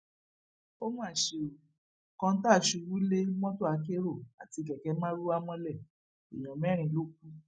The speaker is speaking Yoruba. ó mà ṣe ó kọńtà ṣubú lé mọtò akérò àti kẹkẹ marwa mọlẹ èèyàn mẹrin ló kù